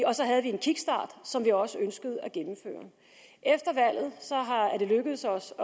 og så havde vi en kickstart som vi også ønskede at gennemføre efter valget er det lykkedes os